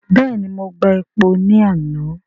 Bẹ́ẹ̀ni, mo gba epo ní àná.